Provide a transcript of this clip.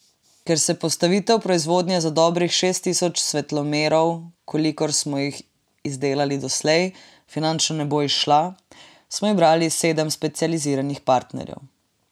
Ker se postavitev proizvodnje za dobrih šest tisoč svetlomerov, kolikor smo jih izdelali doslej, finančno ne bi izšla, smo izbrali sedem specializiranih partnerjev.